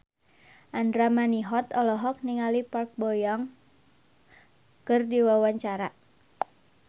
Andra Manihot olohok ningali Park Bo Yung keur diwawancara